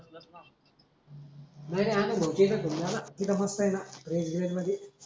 नाही नाही आनंद भाऊ ची एकच घेऊन जा न तिथ मस्त आहे ना फ्रीझ ग्रीज मढी